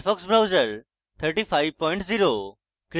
mozilla Firefox browser 350